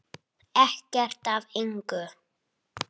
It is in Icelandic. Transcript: Ekkert af engu.